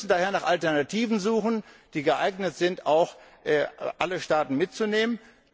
Wir müssen daher nach Alternativen suchen, die geeignet sind, auch alle Staaten mitzunehmen.